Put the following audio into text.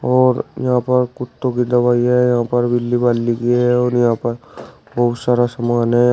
और यहां पर कुत्तों की दवाइयां हैं यहां पर की है और यहां पर बहुत सारा सामान है।